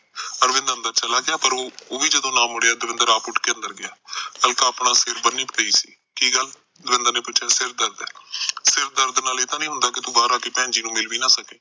ਅਰਵਿੰਦ ਅੰਦਰ ਚਲਾ ਗਿਆ ਪਰ ਓਵੀ ਜਦੋ ਨਾ ਮੁੜਿਆ ਦਵਿੰਦਰ ਆਪ ਉਠ ਕੇ ਅੰਦਰ ਗਿਆ ਅਲਕਾ ਆਪਣਾ ਸਿਰ ਬੰਨੀ ਪਈ ਸੀ ਕੀ ਗੱਲ ਦਵਿੰਦਰ ਨੇ ਪੁਛਿਆ ਸਿਰ ਦਰਦ ਐ ਸਿਰ ਦਰਦ ਨਾਲ ਇਹ ਤਾਨੀ ਹੁੰਦਾ ਕਿ ਤੂੰ ਬਾਹਰ ਆਕੇ ਭੈਣਜੀ ਨੂੰ ਮਿਲ ਵੀ ਨਾ ਸਕੇ